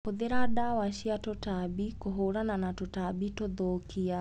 Hũthĩra ndawa cia tũtambi kũhũrana na tũtambi tũthũkia.